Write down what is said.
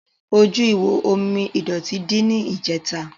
Ojú ihò omi ìdọ̀tí dí ní ìjẹ̀ta.